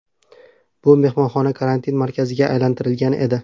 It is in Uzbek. Bu mehmonxona karantin markaziga aylantirilgan edi.